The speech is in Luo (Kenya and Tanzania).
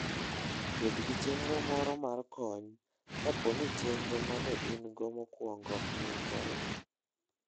Bed gi chenro moro mar kony kapo ni chenro ma ne in-go mokwongo olokore.